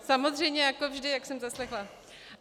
Samozřejmě jako vždy, jak jsem zaslechla.